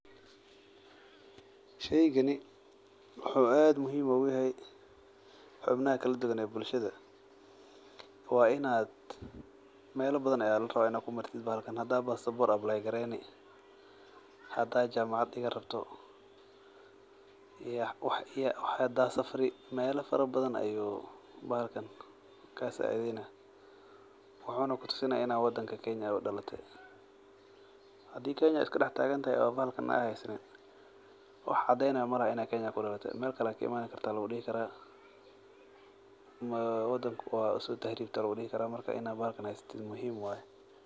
Sheygani wuxuu aad muhiim ogu yahay xubnaha kala duwan ee bulshaada waa in aa mela badan aya larawa in aa kumartid hada basabor apply gareyni hada jamacad digani rabo hada safari melaha badan ayu bahalkan ka sacidheyna wuxuna kutusini ina wadanka kenya udalate hadi kenya iska dax tagantahay ee bahalkana aa hasanin wax cadeynaya malaha in aa kenya kudalatw meel kale aya kaimate aya lagu dahaya karaa wadanka waa uso tahribte aya lagu dihi karaa marka bahalkan in aa hasato waa muhiim.